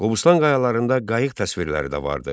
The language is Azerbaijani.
Qobustan qayalarında qayıq təsvirləri də vardı.